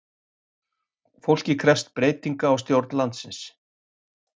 Fólkið krefst breytinga á stjórn landsins